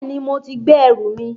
Bẹ́ẹ̀ni, mo ti gbé ẹrù mi